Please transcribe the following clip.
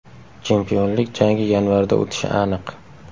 Chempionlik jangi yanvarda o‘tishi aniq.